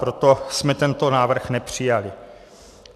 Proto jsme tento návrh nepřijali.